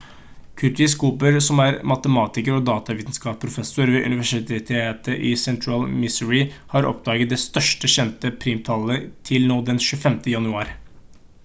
curtis cooper som er matematiker og datavitenskapsprofessor ved universitetet i sentral-missouri har oppdaget det største kjente primtalltallet til nå den 25. januar